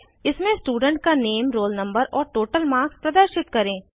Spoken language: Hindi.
इसमें स्टूडेंट का नेम रोल नंबर और टोटल मार्क्स प्रदर्शित करें